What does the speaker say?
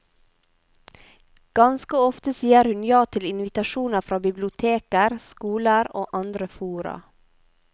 Ganske ofte sier hun ja til invitasjoner fra biblioteker, skoler og andre fora.